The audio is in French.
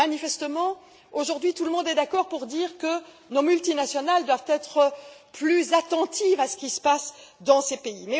Manifestement, aujourd'hui, tout le monde est d'accord pour dire que nos multinationales doivent être plus attentives à ce qui se passe dans ce pays.